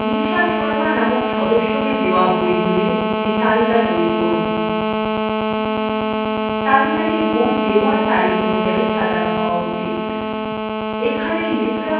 nisha sharma নামক সদস্যকে দেওয়া বইগুলির একটি তালিকা তৈরী করুন